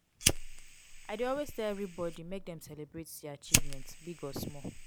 i dey always tell everybody make dem celebrate dia achievements big or small.